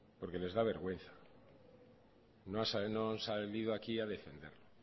porque del da vergüenza no han salido aquí a defenderlo